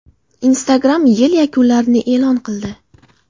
Instagram yil yakunlarini e’lon qildi .